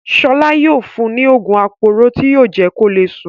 Ṣọlá yóò fún ní òògùn aporó tí yóò jẹ́ kó le sùn.